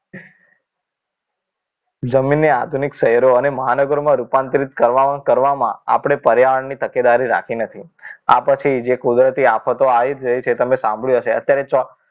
જમીનની આધુનિક શહેરો અને મહાનગરો રૂપાંતરિત કરવામાં ને કરવામાં આપણે પર્યાવરણની તકેદારી રાખી નથી આ પછી જે કુદરતી આફતો આવી રહી છે જે તમે સાંભળ્યું હશે અત્યારે